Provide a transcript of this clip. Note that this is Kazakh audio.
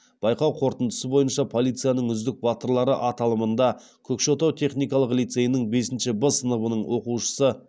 байқау қорытындысы бойынша полицияның үздік батырлары аталымында көкшетау техникалық лицейінің бесінші б сыныбының оқушысы